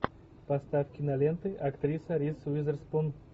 поставь киноленты актриса риз уизерспун